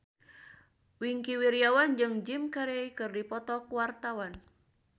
Wingky Wiryawan jeung Jim Carey keur dipoto ku wartawan